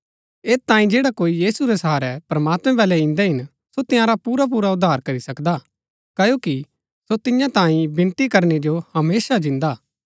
ऐत तांई जैडा कोई यीशु रै सहारै प्रमात्मैं बल्लै इन्दै हिन सो तआंरा पुरापुरा उद्धार करी सकदा क्ओकि सो तियां तांई विनती करनै जो हमेशा जिन्दा हा